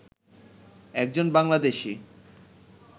একজন বাংলাদেশি